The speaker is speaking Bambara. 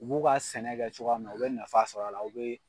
U b'u ka sɛnɛ kɛ cogoya min na u bɛ nafa sɔr'a la u be